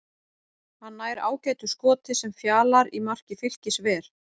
Hann nær ágætu skoti sem Fjalar í marki Fylkis ver.